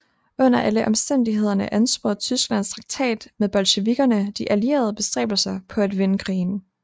Under alle omstændigheder ansporede Tysklands traktat med bolsjevikkerne de allieredes bestræbelser på at vinde krigen